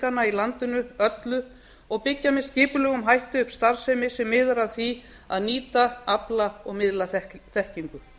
fræðiiðkana í landinu öllu og byggja með skipulegum hætti upp starfsemi sem miðar að því að nýta afla og miðla þekkingu